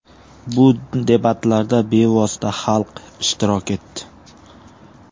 Bu debatlarda bevosita xalq ishtirok etdi.